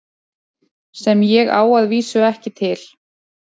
Sem ég á að vísu ekki til.